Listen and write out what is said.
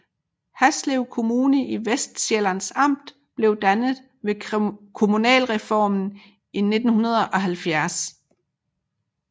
Haslev Kommune i Vestsjællands Amt blev dannet ved kommunalreformen i 1970